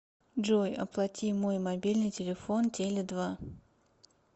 джой оплати мой мобильный телефон теле два